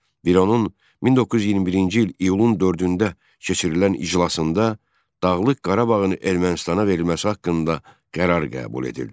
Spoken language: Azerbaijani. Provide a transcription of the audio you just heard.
Büronun 1921-ci il iyulun 4-də keçirilən iclasında Dağlıq Qarabağın Ermənistana verilməsi haqqında qərar qəbul edildi.